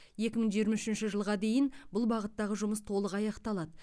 екі мың жиырма үшінші жылға дейін бұл бағыттағы жұмыс толық аяқталады